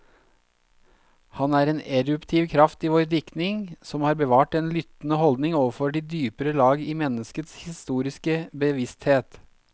Han er en eruptiv kraft i vår diktning, som har bevart den lyttende holdning overfor de dypere lag i menneskets historiske bevissthet.